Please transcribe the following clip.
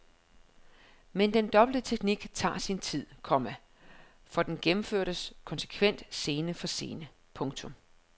Men den dobbelte teknik tager sin tid, komma for den gennemføres konsekvent scene for scene. punktum